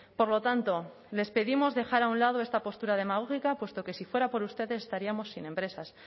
por lo tanto les pedimos dejar un lado de esta postura demagógica puesto que se fuera por ustedes estaríamos sin empresas